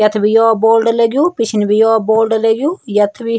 यख बि यौ बोर्ड लग्युं पिछने बि यो बोर्ड लग्युं यख बि --